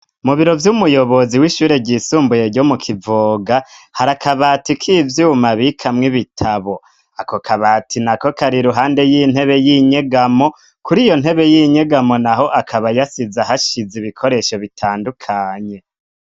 Mu biro vy'umuyobozi w'ishure ry'isumbuye ryo mu kivoga hari akabati k' ivyuma abikamwo ibitabo ako kabati nako kari iruhande y'intebe y'inyegamo kuri iyo ntebe y'inyegamo naho akaba yasize ahashize ibikoresho bitandukanye.